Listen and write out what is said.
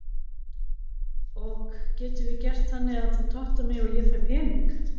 ok getum við gert þannig að þú tottar mig og ég fæ pening?